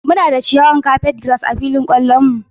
Muna da ciyawar Carpetgrass a filin kwallon mu.